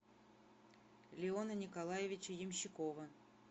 леона николаевича ямщикова